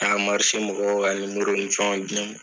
A ka marise mɔgɔw ka nimorow ni fɛnw di ma